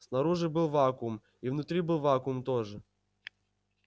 снаружи был вакуум и внутри был вакуум тоже